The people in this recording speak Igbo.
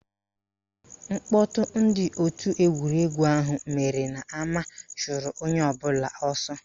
Mkpọtụ ndị òtù egwuregwu ahụ mere n'ama chụrụ onye ọbụla ọsọ